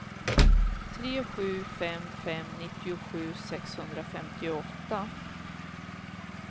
tre sju fem fem nittiosju sexhundrafemtioåtta